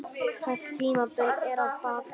Þetta tímabil er að baki.